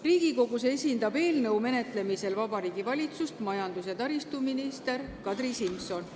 Riigikogus esindab eelnõu menetlemisel Vabariigi Valitsust majandus- ja taristuminister Kadri Simson.